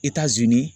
Itazini